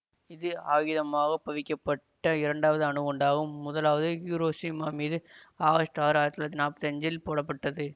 இது ஆகிதமாகப் பவிக்கப்பட்ட இரண்டாவது அணுகுண்டாகும் முதலாவது ஹிரோஷிமா மீது ஆகஸ்ட் ஆறு ஆயிரத்தி தொள்ளாயிரத்தி நாப்பத்தி அஞ்சில் போடப்பட்டது